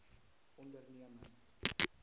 ondernemings